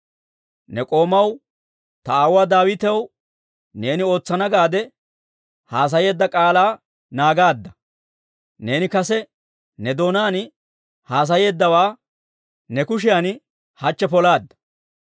Ne k'oomaw, ta aawuwaa Daawitaw neeni ootsana gaade haasayeedda k'aalaa naagaadda; neeni kase ne doonaan haasayeeddawaa ne kushiyan hachche polaadda.